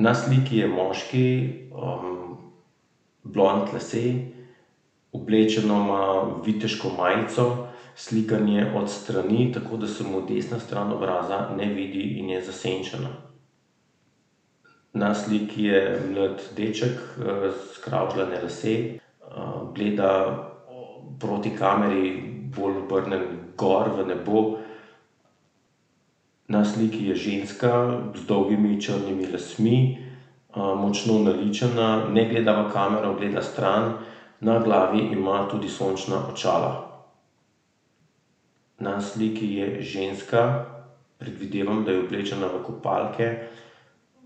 Na sliki je moški, blond lasje, oblečeno ima viteško majico, slikan je od strani, tako da se mu desna stran obraza ne vidi in je zasenčena. Na sliki je mlad deček, skravžljani lasje. gleda proti kameri bolj obrnjen gor v nebo. Na sliki je ženska z dolgimi črnimi lasmi, močno naličena, ne gleda v kamero, gleda stran. Na glavi ima tudi sončna očala. Na sliki je ženska, predvidevam, da je oblečena v kopalke,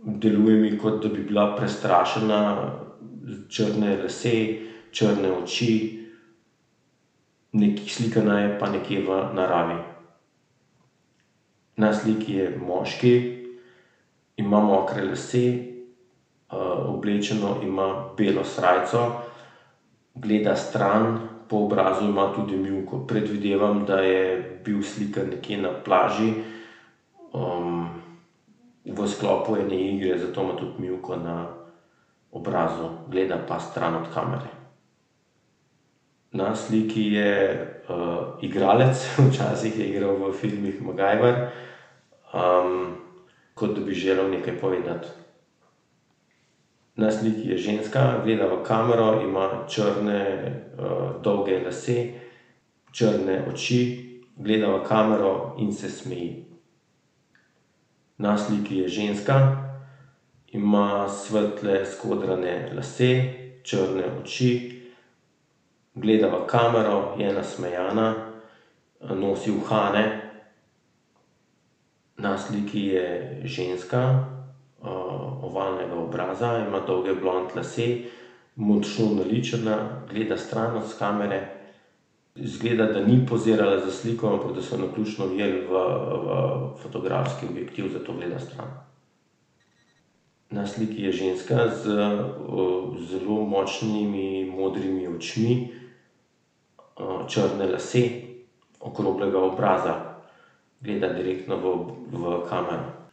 deluje mi, kot da bi bila prestrašena. Črne lase, črne oči. slikana je pa nekje v naravi. Na sliki je moški, ima mokre lase, oblečeno ima belo srajco, gleda stran, po obrazu ima tudi mivko. Predvidevam, da je bil slikan nekje na plaži, v sklopu ene igre, zato ima tudi mivko na obrazu, gleda pa stran od kamere. Na sliki je, igralec, včasih je igral v filmih MacGyver. kot da bi želel nekaj povedati. Na sliki je ženska, gleda v kamero, ima črne, dolge lase. Črne oči, gleda v kamero in se smeji. Na sliki je ženska, ima svetle skodrane lase, črne oči, gleda v kamero, je nasmejana, nosi uhane. Na sliki je ženska, ovalnega obraza, ima dolge blond lase, močno naličena, gleda stran od kamere. Izgleda, da ni pozirala za sliko, ampak da so jo naključno ujeli v, v fotografski objektiv, zato gleda stran. Na sliki je ženska z, zelo močnimi modrimi očmi. črne lase, okroglega obraza. Gleda direktno v v kamero.